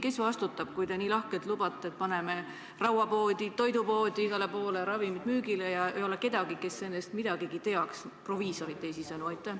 Kes vastutab, kui te nii lahkelt lubate, et paneme rauapoodi, toidupoodi, igale poole ravimid müügile ja ei ole kedagi, kes nendest midagigi teaks, teisisõnu proviisorit?